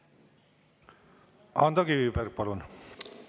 Ando Kiviberg, palun!